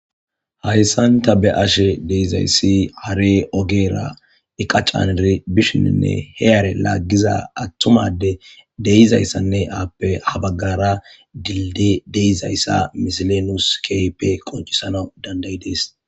Hayssanta be ashe deizayssi hare ogeera iqacaniri bishininne he are laaggiza attumade deizayssanne aappe habaggara dildi deizayssa misilenus keype qoncisana dandayi dees